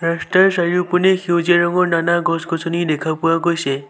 ৰাস্তাৰ চাৰিওপিনে সেউজীয়া ৰঙৰ নানা গছ-গছনি দেখা পোৱা গৈছে।